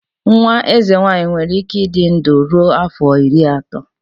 Nwa eze nwanyị nwere ike ịdị ndụ ruo afọ iri atọ.